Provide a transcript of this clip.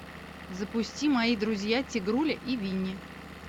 запусти мои друзья тигруля и винни